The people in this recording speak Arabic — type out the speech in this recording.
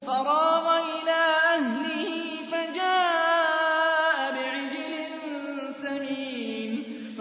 فَرَاغَ إِلَىٰ أَهْلِهِ فَجَاءَ بِعِجْلٍ سَمِينٍ